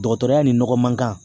Dɔgɔtɔrɔya ni nɔgɔ man kan